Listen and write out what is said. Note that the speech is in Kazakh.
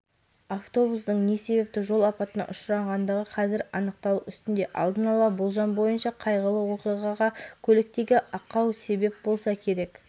автобустың не себепті жол апатына ұшырағанды қазір анықталу үстінде алдын ала болжам бойынша қайғылы оқиғаға көліктегі ақау себеп болса керек